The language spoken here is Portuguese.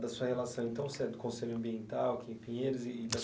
Da sua relação então se é do Conselho Ambiental aqui em Pinheiros e.